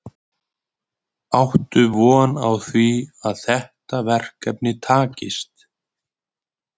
Áttu von á því að þetta verkefni takist?